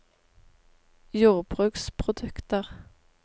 jordbruksprodukter